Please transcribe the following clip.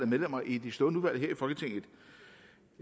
medlemmer i de stående udvalg i folketinget